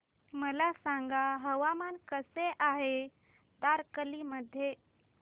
मला सांगा हवामान कसे आहे तारकर्ली मध्ये